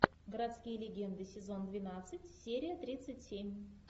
городские легенды сезон двенадцать серия тридцать семь